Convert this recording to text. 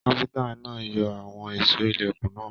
Káfíntà náà yọ àwọn èsó ilẹkùn náà.